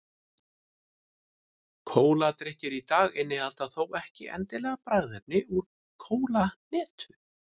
Kóladrykkir í dag innihalda þó ekki endilega bragðefni úr kólahnetu.